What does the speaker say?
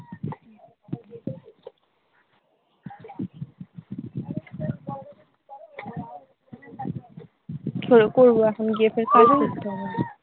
তবে করতো এখন গিয়ে ফের তখন করতে হবে।